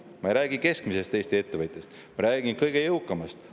Ma ei räägi keskmisest Eesti ettevõtjast, ma räägin kõige jõukamatest.